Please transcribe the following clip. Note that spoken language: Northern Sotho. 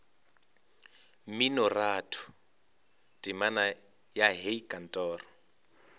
mminoratho temana ya hei kantoro